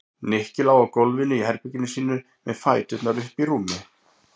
Nikki lá á gólfinu í herberginu sínu með fæturna uppi í rúmi.